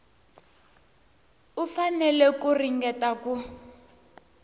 u fanele ku ringeta ku